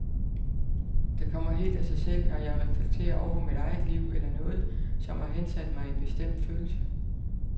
Det kommer helt af sig selv, når jeg reflekterer over mit eget liv eller noget, som har hensat mig i en bestemt følelse.